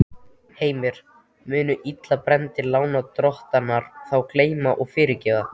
Heimir: Munu illa brenndir lánadrottnar þá gleyma og fyrirgefa?